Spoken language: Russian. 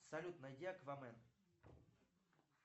салют найди аквамен